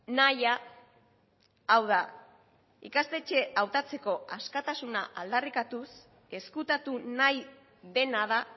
nahia hau da ikastetxe hautatzeko askatasuna aldarrikatuz ezkutatu nahi dena da